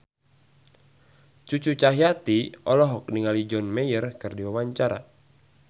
Cucu Cahyati olohok ningali John Mayer keur diwawancara